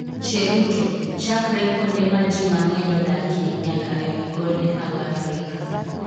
Cheruto: Chakre kuonde ma ji mang'eny odakie nyaka e wi gode mag Afrika